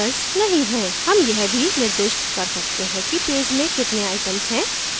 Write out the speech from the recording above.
हम यह भी निर्दिष्ट कर सकते हैं कि page में कितने items हैं